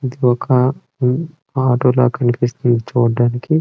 ఇది ఒక ఆటో లా కనిపిస్తుంది చూడ్డానికి.